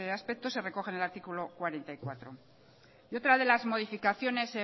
aspecto se recoge en el artículo cuarenta y cuatro y otras de las modificaciones